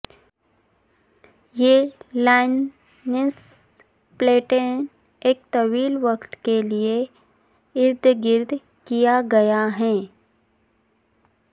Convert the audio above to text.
یہ لائسنس پلیٹیں ایک طویل وقت کے لئے ارد گرد کیا گیا ہے